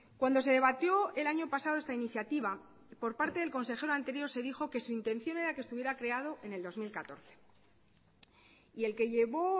cuando se debatió el año pasado esta iniciativa por parte del consejero anterior se dijo que su intención era que estuviera creado en el dos mil catorce y el que llevó